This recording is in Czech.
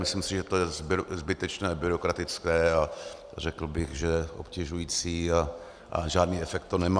Myslím si, že to je zbytečné, byrokratické, a řekl bych, že obtěžující, a žádný efekt to nemá.